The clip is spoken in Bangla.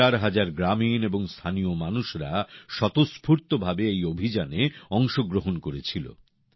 হাজার হাজার গ্রামীণ এবং স্থানীয় মানুষরা স্বতঃস্ফূর্তভাবে এই অভিযানে অংশগ্রহণ করেছিলেন